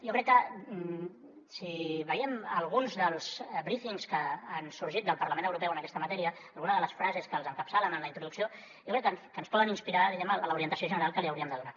jo crec que si veiem alguns dels brífings que han sorgit del parlament europeu en aquesta matèria alguna de les frases que els encapçalen en la introducció jo crec que ens poden inspirar diguem ne en l’orientació general que li hauríem de donar